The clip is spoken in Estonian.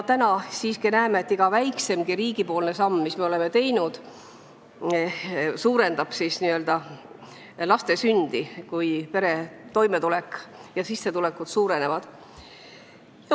Täna siiski näeme, et riigi iga väikseimgi samm, mis me oleme teinud, suurendab sündide arvu, kui perede toimetulek paraneb ja sissetulekud suurenevad.